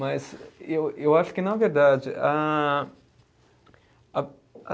Mas e eu eu acho que, na verdade, a a a